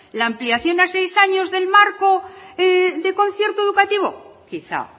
la ampliación a seis años del marco de concierto educativo quizá